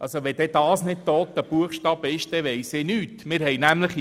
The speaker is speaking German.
» Wenn das nicht «toter Buchstabe» ist, weiss ich nicht, was ich sagen soll.